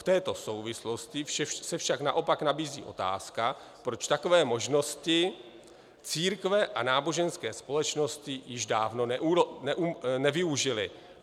V této souvislosti se však naopak nabízí otázka, proč takové možnosti církve a náboženské společnosti již dávno nevyužily."